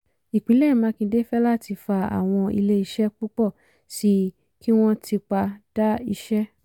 ìpínlẹ̀ makinde fẹ́láti fa àwọn ilé iṣẹ́ púpọ̀ sí i kí wọ́n tipa dá iṣẹ́.